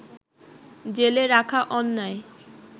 জেলে রাখা অন্যায়